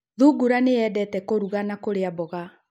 Thungura nĩyendete kũruga na kũrĩa mboga